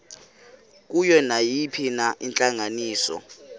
kuyo nayiphina intlanganiso